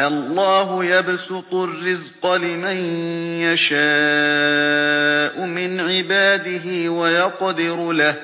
اللَّهُ يَبْسُطُ الرِّزْقَ لِمَن يَشَاءُ مِنْ عِبَادِهِ وَيَقْدِرُ لَهُ ۚ